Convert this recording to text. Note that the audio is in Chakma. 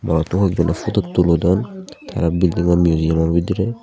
arto hoekjone fotut tulodon te bilding an miujiyomo budirey.